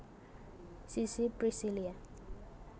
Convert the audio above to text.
Sissy Priscillia